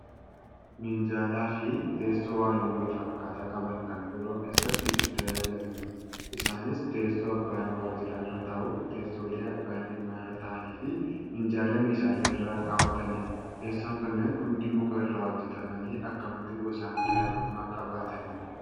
Minjaalafi teesssoo haalluu walfakkaataa qaban kan biiroo keessatti itti tajaajilamnudha. Isaanis teessoo abbaan waajjiraa irra taa'u, teessoolee abbaan dhimmaa irra taa'anifi minjaala meeshalee irra kaawwatanidha. Teessoon kunneen hundi muka irraa hojjatamanii akkamitti gosaan garaagarummaa qabaatani?